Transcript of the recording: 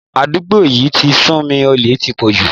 Àdúgbò yí ti sú mi, olè ti pọ̀ jù.